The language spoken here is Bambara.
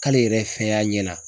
K'ale yɛrɛ fɛn y'a ɲɛ na.